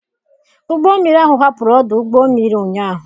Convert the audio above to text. Ụgbọ mmiri ahụ hapụrụ ọdụ ụgbọ mmiri ụnyahụ.